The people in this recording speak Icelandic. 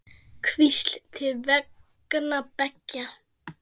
Hvísl til vanga beggja?